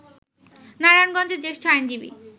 নারায়ণগঞ্জের জ্যেষ্ঠ আইনজীবী